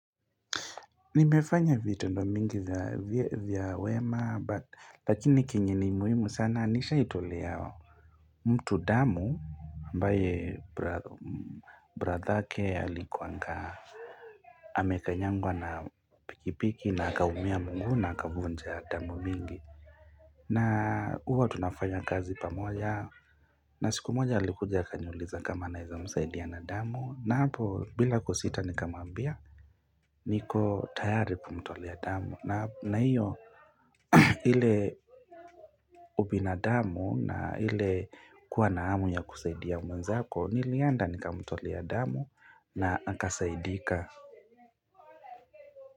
Nimefanya vitendo mingi vya wema but lakini kenye ni muhimu sana nishaitolea yao mtu damu ambaye brathake alikuangaa Amekanyangwa na pikipiki na akaumia mguu na akavunja damu mingi na huwa tunafanya kazi pamoja na siku moja alikuja akaniuliza kama naeza msaidia na damu na hapo bila kusita nikamuambia niko tayari kumtolea damu na hiyo ile ubinadamu na ile kuwa na hamu ya kusaidia mwenzako nilienda nikamtolea damu na akasaidika.